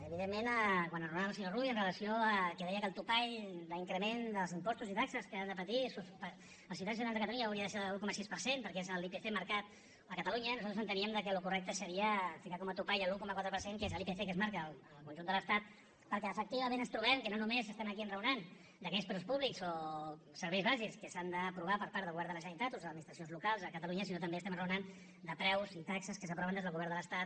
evidentment quan enraonava el senyor rull en relació al fet que deia que el topall d’increment dels impostos i de les taxes que han de patir els ciutadans de catalunya hauria de ser de l’un coma sis perquè és l’ipc marcat a catalunya nosaltres enteníem que el correcte seria ficar com a topall l’un coma quatre per cent que és l’ipc que es marca en el conjunt de l’estat perquè efectivament ens trobem que no només estem aquí enraonant d’aquells preus públics o serveis bàsics que s’han d’aprovar per part del govern de la generalitat o les administracions locals a catalunya sinó que també enraonem de preus i taxes que s’aproven des del govern de l’estat